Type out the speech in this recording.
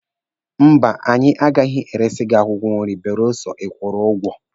Mba, anyị agaghị eresi gị akwụkwọ nri belụsọ ịkwụrụ ụgwọ.